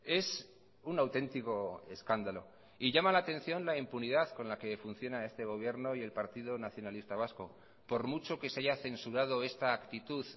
es un auténtico escándalo y llama la atención la impunidad con la que funciona este gobierno y el partido nacionalista vasco por mucho que se haya censurado esta actitud